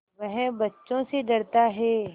वह बच्चों से डरता है